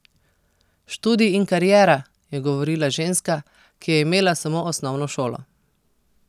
Študij in kariera, je govorila ženska, ki je imela samo osnovno šolo.